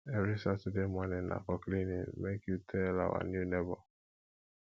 every saturday morning na for cleaning make you tell our new nebor